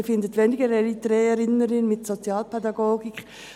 Also, Sie finden weniger Eritreerinnen und Eritreer in der Sozialpädagogik.